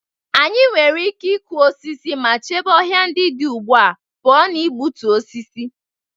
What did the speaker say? Anyị nwere ike ịkụ osisi ma chebe ọhịa ndị dị ugbu a pụọ ​​na igbutu osisi.